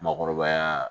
Makɔrɔbaya